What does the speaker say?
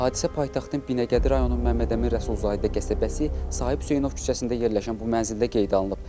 Hadisə paytaxtın Binəqədi rayonun Məmmədəmin Rəsulzadə qəsəbəsi, Sahib Hüseynov küçəsində yerləşən bu mənzildə qeydə alınıb.